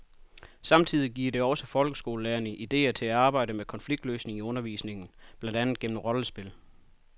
Samtidig giver det også folkeskolelærerne idéer til at arbejde med konfliktløsning i undervisningen, blandt andet gennem rollespil.